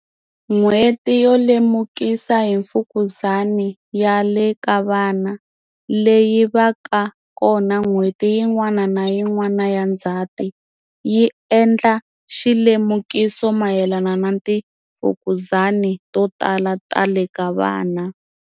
N'HWETI YO LEMUKISA hi Mfukuzani ya le ka Vana, leyi va ka kona n'hweti yin'wana na yin'wana ya Ndzati, yi endla xilemukiso mayelana na timfukuzani to tala ta le ka vana.